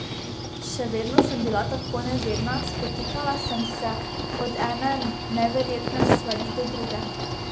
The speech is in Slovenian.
Še vedno sem bila tako nevedna, spotikala sem se od ene neverjetne stvari do druge.